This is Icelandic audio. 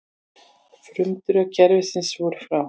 Frumdrög kerfisins voru frá